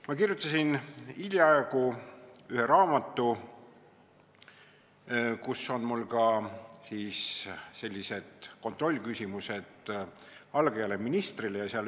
Ma kirjutasin hiljaaegu ühe raamatu, kus on mul ka kontrollküsimused algajale ministrile.